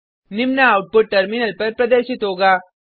निम्न output terminal पर प्रदर्शित होगा